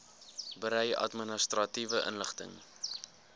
berei administratiewe inligting